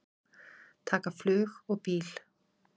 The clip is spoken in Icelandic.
Taka flug og bíl?